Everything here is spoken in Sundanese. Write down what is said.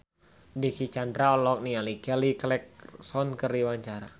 Dicky Chandra olohok ningali Kelly Clarkson keur diwawancara